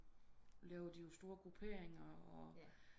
Laver de jo store grupperinger og